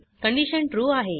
condition true आहे